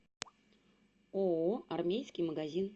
ооо армейский магазин